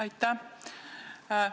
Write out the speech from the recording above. Aitäh!